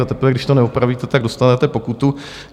A teprve když to neopravíte, tak dostanete pokutu.